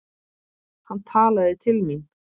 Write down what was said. Hann talaði til mín.